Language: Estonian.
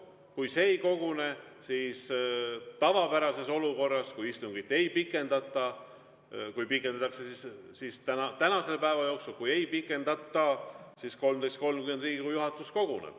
Kui see ei kogune, siis on nii, et kui istungit pikendatakse, siis tänase päeva jooksul, aga kui ei pikendata, siis kell 13.30 koguneb Riigikogu juhatus.